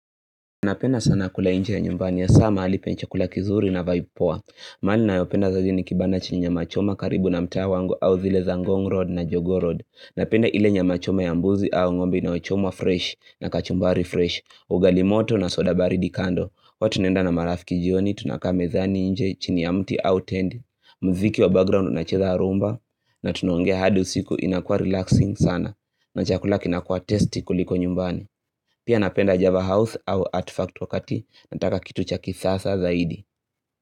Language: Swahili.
Napenda sana kula nje ya nyumbani hasa mahali penye chakula kizuri na vibe poa mahali ninayopenda zaidi ni kibanda cha nyama choma karibu na mtaa wangu au zile za ngong road na jogoo road Napenda ile nyama choma ya mbuzi au ngombe inayochomwa fresh na kachumbari fresh Ugali moto na soda baridi kando huwa tunaenda na marafiki jioni tunakaa mezani nje chini ya mti au tenti mziki wa background unacheza rhumba na tunaongea hadi usiku inakuwa relaxing sana na chakula kinakuwa tasty kuliko nyumbani Pia napenda Java House au ArtFact wakati nataka kitu cha kisasa zaidi.